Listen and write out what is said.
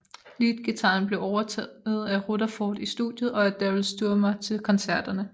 Leadguitaren blev overtaget af Rutherford i studiet og af Daryl Stuermer til koncerterne